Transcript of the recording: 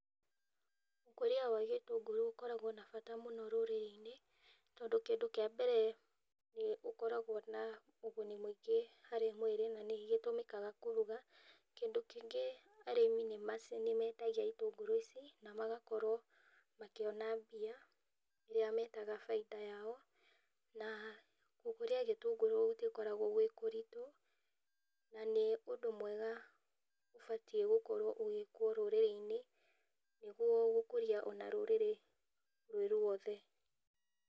Ũkũria wa gĩtũngũrũ ũkoragwo na bata rũrĩrĩ-inĩ tondũ kĩndũ kĩa mbere nĩ ũrĩ ũguni mũingĩ harĩ mwĩrĩ na gĩtũmĩkaga kũruga na kĩndũ kĩngĩ arĩmi nĩ mendagia itũngũrũ ici na magakorwo makĩona mbia iria metaga baita yao, na gũkũria gĩtũngũrũ gũtikoragwo gwĩ kũritũ na nĩ ũndũ mwega ũbatie gũkorwo ũgĩkwo rũrĩrĩ-inĩ nĩguo gũkũria ona rũrĩrĩ rwĩ ruothe.